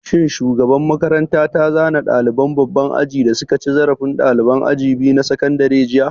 Shin shugaban makaranta ta zane ɗaliban babban aji da suka cin zarafi ɗaliban aji biyu na sakandare jiya?